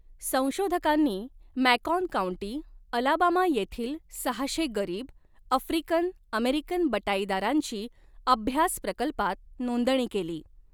संशोधकांनी Macon County, Alabama येथील सहाशे गरीब, आफ्रिकन अमेरिकन बटाईदारांची अभ्यास प्रकल्पात नोंदणी केली.